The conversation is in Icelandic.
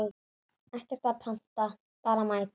Ekkert að panta, bara mæta!